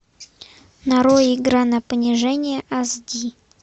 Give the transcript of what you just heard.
нарой игра на понижение ас ди